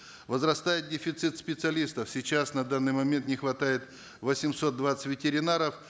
возрастает дефицит специалистов сейчас на данный момент не хватает восемьсот двадцать ветеринаров